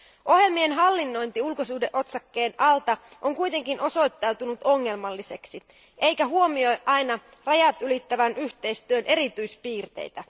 Ohjelmien hallinnointi ulkosuhdeotsakkeen alta on kuitenkin osoittautunut ongelmalliseksi, eikä huomioi aina rajat ylittävän yhteistyön erityispiirteitä.